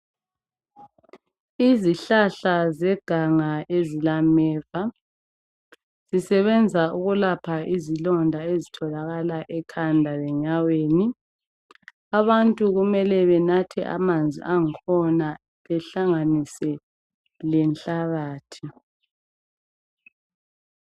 izihlahla zeganga ezilameva zisebenza ukulapha izilonda ezitholakala ekhanda lenyaweni abantu kumele banathe amanzi angkhona behlanganise lenhlabathi